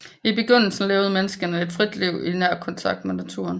I begyndelsen levede menneskene et frit liv i nær kontakt med naturen